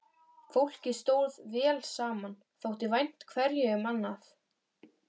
Fólkið stóð vel saman, þótti vænt hverju um annað.